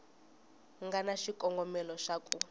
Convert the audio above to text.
nga na xikongomelo xa ku